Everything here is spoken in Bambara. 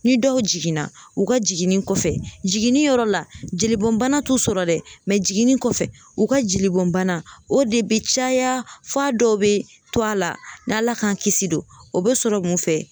Ni dɔw jiginna u ka jiginni kɔfɛ , jiginniyɔrɔ la jelibɔn bana t'u sɔrɔ dɛ jiginni kɔfɛ u ka jelibɔnbana o de be caya f'a dɔw be to a la n'a ala k'an kisi don ,o bɛ sɔrɔ mun fɛ?